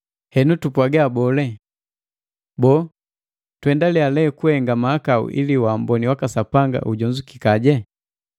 Henu tupwaga boo? Boo, tuendalia lee kukuhenga mahakau ili waamboni waka Sapanga ujonzukikaje?